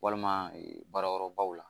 Walima baarayɔrɔbaw la